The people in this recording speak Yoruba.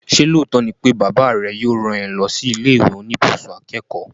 Ṣé lóòótọ́ ni pé bàbá rẹ yóò rán ẹ lọ sí ilé ìwé oníbùsùn akẹ́kọ̀ọ́?